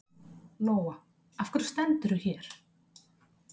Lóa: Af hverju stendurðu hér?